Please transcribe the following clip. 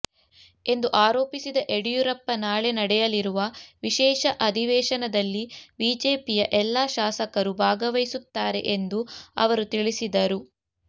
ಎಂದು ಆರೋಪಿಸಿದ ಯಡಿಯೂರಪ್ಪ ನಾಳೆ ನಡೆಯಲಿರುವ ವಿಶೇಷ ಅಧಿವೇಶನದಲ್ಲಿ ಬಿಜೆಪಿಯ ಎಲ್ಲ ಶಾಸಕರು ಭಾಗವಹಿಸುತ್ತಾರೆ ಎಂದು ಅವರು ತಿಳಿಸಿದರು